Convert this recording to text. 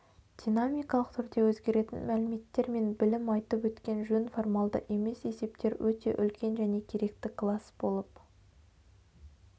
динамикалық түрде өзгеретін мәліметтер мен білім айтып өткен жөн формалды емес есептер өте үлкен және керекті класс болып